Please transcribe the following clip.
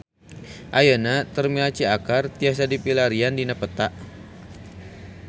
Ayeuna Terminal Ciakar tiasa dipilarian dina peta